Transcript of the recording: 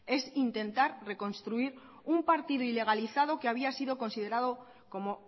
es intentar reconstruir un partido ilegalizado que había sido considerado como